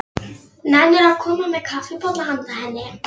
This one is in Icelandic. Nennirðu að koma með kaffibolla handa henni